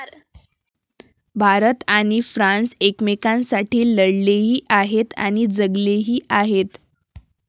भारत आणि फ्रान्स एकमेकांसाठी लढलेही आहेत आणि जगलेही आहेत.